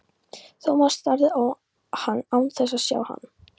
Thomas starði á hann án þess að sjá hann.